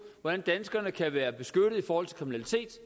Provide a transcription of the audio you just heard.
hvordan danskerne kan være beskyttet og